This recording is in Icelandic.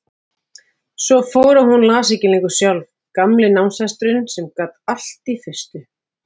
Svo fór að hún las ekki lengur sjálf, gamli námshesturinn sem gat allt í fyrstu.